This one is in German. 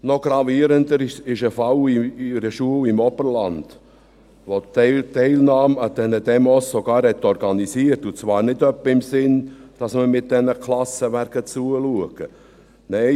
Noch gravierender ist ein Fall in einer Schule im Oberland, welche die Teilnahme an diesen Demos sogar organisiert hat, und zwar nicht etwa in dem Sinne, dass man mit den Klassen zuschauen gegangen wäre.